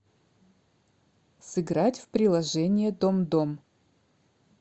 сыграть в приложение домдом